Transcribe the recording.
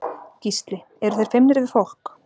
Gísli: Eru þeir feimnir við fólk?